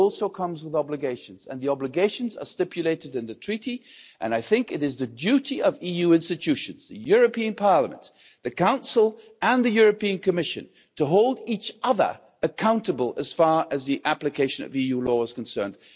it also comes with obligations and the obligations are stipulated in the Treaty, and I think it is the duty of EU institutions the European Parliament, the Council and the European Commission to hold each other accountable as far as the application of EU law is concerned.